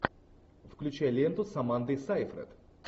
включай ленту с амандой сайфред